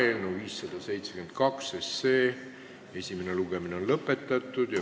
Eelnõu 572 esimene lugemine on lõpetatud.